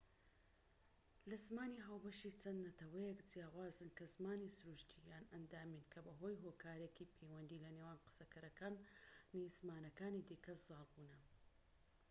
لە زمانی ھاوبەشی چەند نەتەوەیەک جیاوازن کە زمانی سروشتی یان ئەندامیین کە بەهۆی هۆکارێکی پەیوەندی لە نێوان قسەکەرەکانی زمانەكانی دیکە زاڵ بوونە